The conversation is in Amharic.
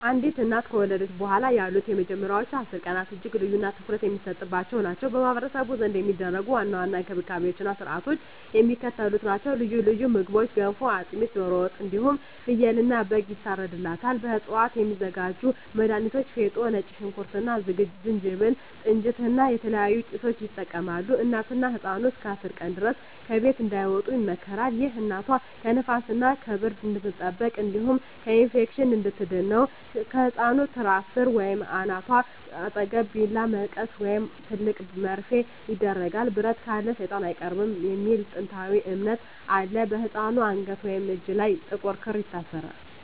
አንዲት እናት ከወለደች በኋላ ያሉት የመጀመሪያዎቹ 10 ቀናት እጅግ ልዩና ትኩረት የሚሰጥባቸው ናቸው። በማኅበረሰቡ ዘንድ የሚደረጉ ዋና ዋና እንክብካቤዎችና ሥርዓቶች የሚከተሉት ናቸው፦ ልዩ ልዩ ምግቦች ገንፎ፣ አጥሚት፣ ዶሮ ወጥ እንዲሁም ፍየልና በግ ይታርድላታል። ከእፅዋት የሚዘጋጁ መድሀኒቶች ፌጦ፣ ነጭ ሽንኩርት እና ዝንጅብል፣ ጥንጅት እና የተለያዩ ጭሶችን ይጠቀማሉ። እናትና ህፃኑ እስከ 10 ቀን ድረስ ከቤት እንዳይወጡ ይመከራል። ይህ እናቷ ከንፋስና ከብርድ እንድትጠበቅ እንዲሁም ከኢንፌክሽን እንድትድን ነው። ከህፃኑ ትራስ ሥር ወይም ከእናቷ አጠገብ ቢላዋ፣ መቀስ ወይም ትልቅ መርፌ ይደረጋል። "ብረት ካለ ሰይጣን አይቀርብም" የሚል ጥንታዊ እምነት አለ። በህፃኑ አንገት ወይም እጅ ላይ ጥቁር ክር ይታሰራል።